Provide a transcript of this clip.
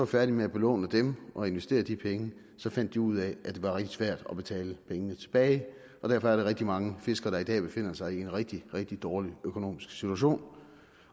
færdige med at belåne dem og investere de penge fandt de ud af at det var rigtig svært at betale pengene tilbage derfor er der rigtig mange fiskere der i dag befinder sig i en rigtig rigtig dårlig økonomisk situation